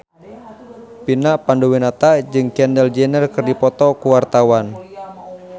Vina Panduwinata jeung Kendall Jenner keur dipoto ku wartawan